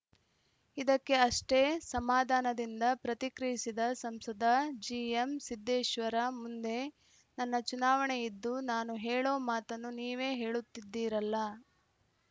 ಇದಕ್ಕೆ ಅಷ್ಟೇ ಸಮಾಧಾನದಿಂದ ಪ್ರತಿಕ್ರಿಯಿಸಿದ ಸಂಸದ ಜಿಎಂಸಿದ್ದೇಶ್ವರ ಮುಂದೆ ನನ್ನ ಚುನಾವಣೆ ಇದ್ದು ನಾನು ಹೇಳೋ ಮಾತನ್ನು ನೀವೇ ಹೇಳುತ್ತಿದ್ದೀರಲ್ಲಾ